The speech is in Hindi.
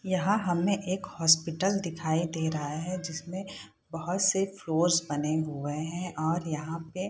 यहाँ हमने एक हॉस्पिटल दिखाई दे रहा है जिसमें बहुत से फ्लोर्स बने हुए हैं और यहाँ पे --